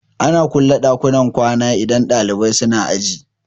Ana kulle ɗakunan kwana idan ɗalibai suna aji